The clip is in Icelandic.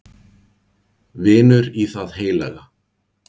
Vinur í það heilaga